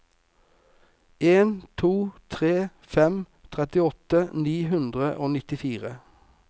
en to tre fem trettiåtte ni hundre og nittifire